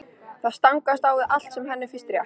Það stangast á við allt sem henni finnst rétt.